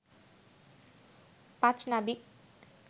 পাঁচ নাবিক